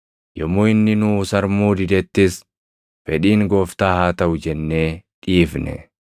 Yommuu inni nuu sarmuu didettis, “Fedhiin Gooftaa haa taʼu” jennee dhiifne.